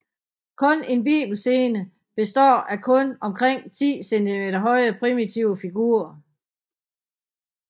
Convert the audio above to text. Kun en bibelscene består af kun omkring 10 cm høje primitive figurer